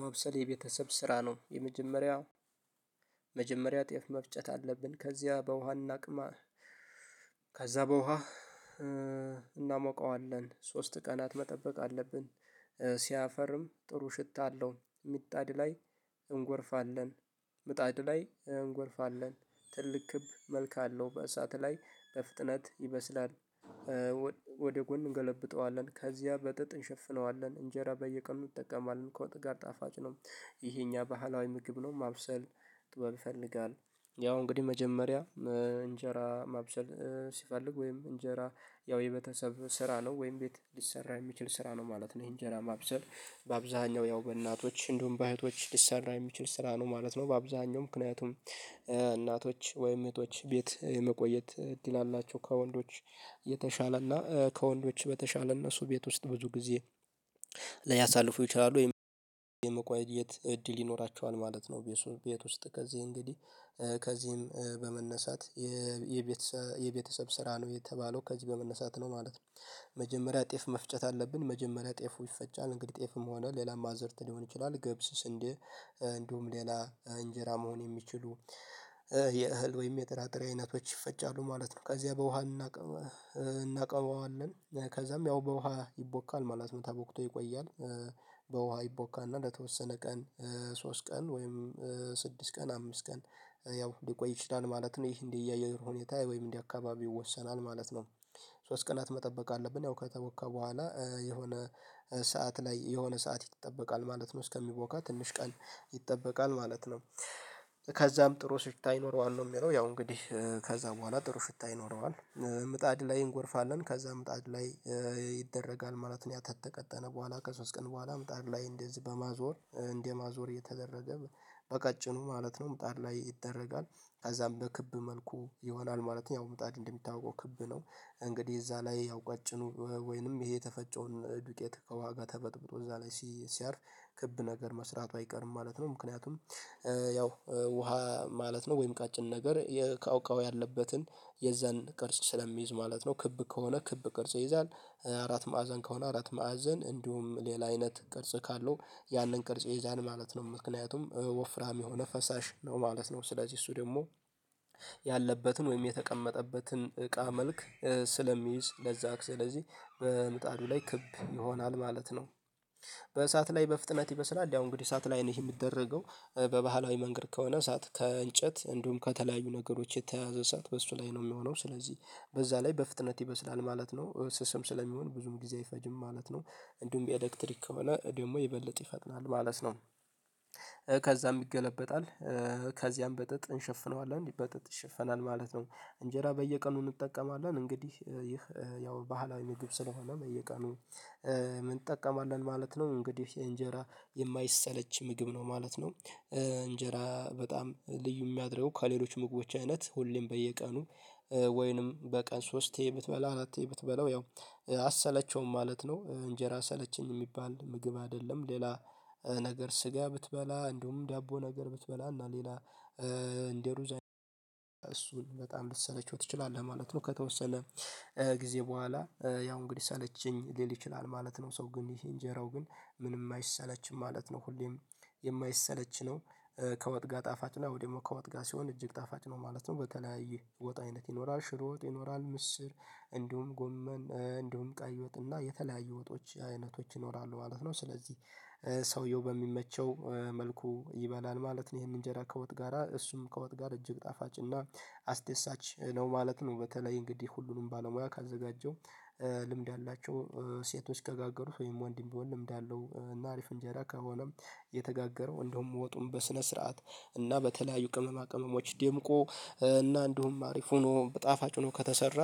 ማብሰል የቤተሰብ ስራ ነው የመጀመሪያው መጀመሪያ ጤፍ መፍጨት አለብን። ከዚያ በውሃና አቅማ ከዛ በውሃ እናሞቃዋለን ሶስት ቀናት መጠበቅ አለብን። ሲያፈርም ጥሩ ሽታ አለው። ሚጣድ ላይ እንጎርፋለን ምጣድ ላይ እንጎርፋለን ትልቅ ክብ መልካ አለው በእሳት ላይ በፍጥነት ይመስላል። ወደ ጎን እንገለብጠዋለን ከዚያ በጠጥ እንሸፍነዋለን እንጀራ በየቀኑ ይጠቀማል ከወጥ ጋር ጣፋጭ ነው። ይሄ እኛ ባህላዊ ምግብ ነው ማብሰል ጥበብ ይፈልጋል። ያው እንግዲህ መጀመሪያ እንጀራ ማብሰል ሲፈልግ ወይም እንጀራ ያው የቤተሰብ ስራ ነው ወይም ቤት ሊሰራ የሚችል ስራ ነው ማለት ነው። ይሄን ጀራማ ማብሰል በአብዛኛው ያው በእናቶች እንደውም በእህቶች ሊሰራ የሚችል ስራ ነው ማለት ነው። በአብዛኛው ምክንያቱም እናቶች ወይም እህቶች ቤት የመቆየት ድል አላቸው ከወንዶች የተሻለና ከወንዶች በተሻለ እነሱ ቤት ውስጥ ብዙ ጊዜ ሊያሳልፉ ይችላሉ ወይም የመቆየት እድል ይኖራቸዋል ማለት ነው። ቤቱ ቤት ውስጥ ከዚህ እንግዲህ ከዚህም በመነሳት የቤተሰብ ስራ ነው የተባለው ከዚህ በመነሳት ነው ማለት ነው። መጀመሪያ ጤፍ መፍጨት አለብን መጀመሪያ ጤፉ ይፈጫል እንግዲህ ጤፍም ሆነ ሌላም አዝርት ሊሆን ይችላል ግብስ ስንዴ ሌላ እንጀራ መሆን የሚችሉ የእህል ወይም የጥራጥሬ አይነቶች ይፈጫሉ ማለት ነው። ከዚያ በውሃ እናቀዋለን ከዛም ያው በውሃ ይቦካል ማለት ነው ተቦክቶ ይቆያል። በውሃ ይቦካና ለተወሰነ ቀን ሶስት ቀን ወይም ስድስት ቀን አምስት ቀን ያው ሊቆይ ይችላል ማለት ነው። ይሄ እንደ እያየሁ ሁኔታ ወይም እንዲህ አካባቢ ይወሰናል ማለት ነው። ሶስት ቀናት መጠበቅ አለብን ያው ከተወካ በኋላ የሆነ ሰዓት ላይ የሆነ ሰዓት ይጠበቃል ማለት ነው እስከሚቦካ ትንሽ ቀን ይጠበቃል ማለት ነው። ከዛም ጥሩ ስትታ ይኖረዋል ነው የሚለው ያው እንግዲህ ከዛ በኋላ ጥሩ ሽታ ይኖረዋል ምጣድ ላይ እንጎርፋለን ከዛ ምጣድ ላይ ይደረጋል ማለት ነው። ያ ተተቀጠነ በኋላ ከሶስት ቀን በኋላ ምጣር ላይ እንደዚህ በማዞር እንደማዞር የተደረገ በቀጭኑ ማለት ነው። ምጣድ ላይ ይደረጋል አዛም በክብ መልኩ ይሆናል ማለት ነው። ያው ምጣድ እንደምታውቀው ክብ ነው እንግዲህ እዛ ላይ ያው ቀጭኑ ወይንም ይሄ የተፈጨውን ዱቄት ከዋጋ ተፈጥብጦ እዛ ላይ ሲያርፍ ክብ ነገር መስራቱ አይቀርም ማለት ነው። ምክንያቱም ያው ውሃ ማለት ነው ወይም ቀጭን ነገር የካ እቃው የካውካው ያለበትን የዛን ቅርጽ ስለሚይዝ ማለት ነው። ክብ ከሆነ ክብ ቅርጽ ይይዛል። አራት ማዕዘን ከሆነ አራት ማዕዘን እንዲሁም ሌላ አይነት ቅርጽ ካለው ያንን ቅርጽ የዛን ማለት ነው። ምክንያቱም ወፍራም የሆነ ፈሳሽ ነው ማለት ነው። ስለዚህ እሱ ደግሞ ያለበትን ወይም የተቀመጠበትን እቃ መልክ ስለሚይዝ ለዛ ስለዚህ በምጣዱ ላይ ክብ ይሆናል ማለት ነው። በእሳት ላይ በፍጥነት ይበስላል ያው እንግዲህ እንግዲህ እሳት ላይ ነው ይሄ የሚደረገው በባህላዊ መንገድ ከሆነ እሳት ከእንጨት እንዲሁም ከተለያዩ ነገሮች የተያዘ ሰዓት በሱ ላይ ነው የሚሆነው ስለዚህ በዛ ላይ በፍጥነት ይበስላል ማለት ነው ስስም ስለሚሆን ብዙም ጊዜ አይፈጅም ማለት ነው። እንዲሁም የኤሌክትሪክ ከሆነ ደግሞ ይበልጥ ይፈጥናል ማለት ነው። ከዛም ይገለበጣል። ከዚያም በጥጥ እንሸፍነዋለን በጥጥ ይሸፈናል ማለት ነው እንጀራ በየቀኑ እንጠቀማለን እንግዲህ ይህ ያው ባህላዊ ምግብ ስለሆነ መየቃ ነው። ምን እንጠቀማለን ማለት ነው እንግዲህ እንጀራ የማይሰለች ምግብ ነው ማለት ነው። እንጀራ በጣም ልዩ የሚያድረው ከሌሎች ሞቦች አይነት ሁሌም በየቀኑ ወይንም በቀን ሶስቴ ይሄ ብትበላ አራቴ ይሄ ብትበላው ያው አሰለቸውም ማለት ነው። እንጀራ ሰለቸኝ የሚባል ምግብ አይደለም። ሌላ ነገር ስጋ ብትበላ እንደውም ዳቦ ነገር ብትበላና ሌላ እንደሩዛን እሱን በጣም ልትሰለቸው ትችላለህ ማለት ነው። ከተወሰለ ጊዜ በኋላ ያው እንግዲህ ሰለችኝ ሊል ይችላል ማለት ነው። ሰው ግን ይሄ እንጀራው ግን ምንም አይሰለችም ማለት ነው። ሁሌም የማይሰለች ነው። ከወጥ ጋር ጣፋጭ ነው ወይ ደግሞ መኳወት ጋር ሲሆን እጅግ ጣፋጭ ነው ማለት ነው። በተለያየ ወጣ አይነት ይኖራል ሽሮጥ ይኖራል ምስር እንዲሁም ጎመን እንዲሁም ቀይ ወጥና የተለያየ ወጦች አይነቶች ይኖራሉ ማለት ነው። ስለዚህ ሰውየው በሚመቸው መልኩ ይበላል ማለት ነው። ይሄንን እንጀራ ከወጥ ጋራ እሱም ከወጥ ጋር እጅግ ጣፋጭ እና አስደሳች ነው ማለት ነው። በተለይ እንግዲህ ሁሉንም ባለሙያ ካዘጋጀው ልምድ አላቸው ሴቶች ከጋገሩት ወይም ወንድ ይመስለኛል ልምድ አለው እና አሪፍ እንጀራ ከሆነም የተጋገረው እንደውም ወጡን በስነ ስርዓት እና በተለያዩ ቅመማ ቅመሞች ደምቆ እና እንዲሁም አሪፍ ሆኖ በጣፋጭ ሆኖ ከተሰራ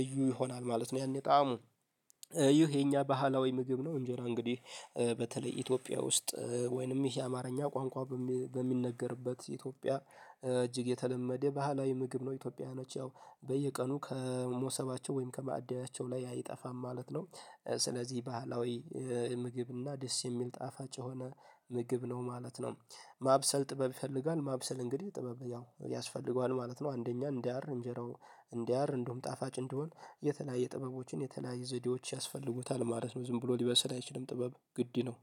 ልዩ ይሆናል ማለት ነው። ያኔ ጣዕሙ ይሄ የኛ ባህላዊ ምግብ ነው። እንጂ እንግዲህ በተለይ ኢትዮጵያ ውስጥ ወይንም ይሄ አማርኛ ቋንቋ በሚነገርበት ኢትዮጵያ እጅግ የተለመደ ባህላዊ ምግብ ነው። ኢትዮጵያውያኖች ያው በየቀኑ ከሞሰባቸው ወይም ከማዕዳያቸው ላይ አይጠፋም ማለት ነው። ስለዚህ ባህላዊ ምግብና ደስ የሚል ጣፋጭ የሆነ ምግብ ነው ማለት ነው። ማብሰል ጥበብ ይፈልጋል ማብሰል እንግዲህ ጥበብ ያው ያስፈልገዋል ማለት ነው። አንደኛ እንዳያር እንጀራው እንዲህ አር እንደውም ጣፋጭ እንዲሆን የተለያየ ጥበቦችን የተለያየ ዘዴዎች ያስፈልጉታል ማለት ነው ዝም ብሎ ሊበሰል አይችልም ጥበብ ግድ ነው